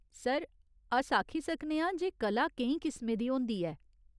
Sir, अस आक्खी सकने आं जे कला केईं किसमें दी होंदी ऐ।